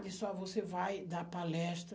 Disse, ó, você vai dar palestra.